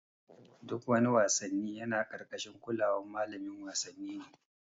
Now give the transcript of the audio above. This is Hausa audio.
Duk wani wassanni yana karkashin kulawan malamin wasanni ne.